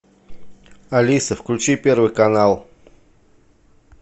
алиса включи первый канал